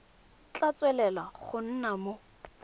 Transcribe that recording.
tla tswelela go nna mo